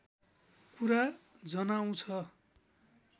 कुरा जनाउँछ